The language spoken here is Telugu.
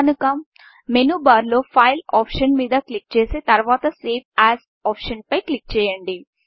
కనుక మెనూబార్లో Fileఫైల్ ఆప్షన్ మీద క్లిక్ చేసి తరువాత సేవ్ asసేవ్ యాజ్ ఆప్షన్ పై క్లిక్ చేయండి